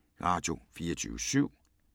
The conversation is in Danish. Radio24syv